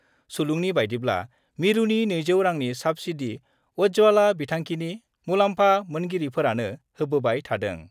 सुलुंनि बायदिब्ला, मिरुनि 200 रांनि साब्सिडि उज्वला बिथांखिनि मुलाम्फा मोनगिरिफोरानो होबोबाय थादों।